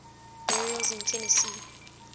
burials in tennessee